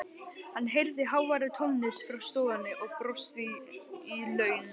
Hann heyrði háværa tónlist frá stofunni og brosti í laumi.